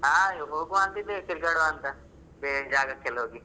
ಹಾ ಹೋಗುವ ಅಂತ ಇದ್ದೇವೆ ತಿರ್ಗಾಡುವ ಅಂತ, ಬೇರೆ ಜಾಗಕ್ಕೆಲ್ಲ ಹೋಗಿ.